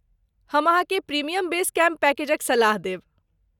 हम अहाँकेँ premium base camp पैकेजक सलाह देब।